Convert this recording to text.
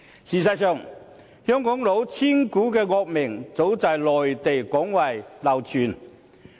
事實上，香港"老千股"的惡名，早在內地廣為流傳。